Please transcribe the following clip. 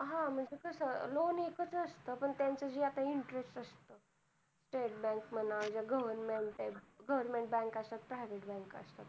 हा म्हणजे कस loan एक च असत पण तेंच जे आता interest असत StateBank म्हणा, government bank private bank असतात